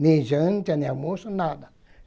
Nem janta, nem almoço, nada.